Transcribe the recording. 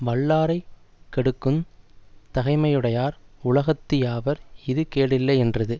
வல்லாரைக் கெடுக்குந் தகைமையுடையார் உலகத்து யாவர் இது கேடில்லை யென்றது